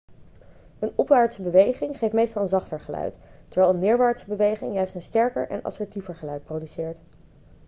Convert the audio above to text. een opwaartse beweging geeft meestal een zachter geluid terwijl een neerwaartse beweging juist een sterker en assertiever geluid produceert